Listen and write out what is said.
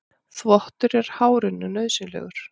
Þvottur er hárinu nauðsynlegur.